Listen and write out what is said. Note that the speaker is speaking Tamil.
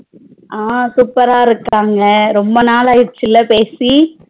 ஆஹ் super ரா இருக்காங்க ரொம்ப நாள் ஆயிருச்சுல பேசி